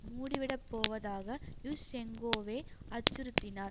மூடிவிடப்போவதாக யுஷ்செங்கோவே அச்சுறுத்தினார்